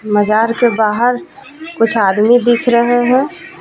मज़ार के बहार कुछ आदमी दिख रहे हैं.